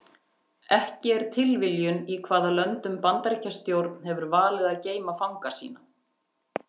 Ekki er tilviljun í hvaða löndum Bandaríkjastjórn hefur valið að geyma fanga sína.